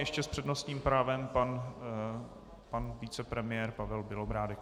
Ještě s přednostním právem pan vicepremiér Pavel Bělobrádek.